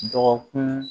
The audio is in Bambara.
Dɔgɔkun